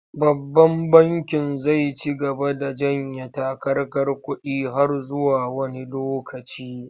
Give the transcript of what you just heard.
Babban bankin zai ci gaba da janye takarkar kuɗi har zuwa wani lokaci.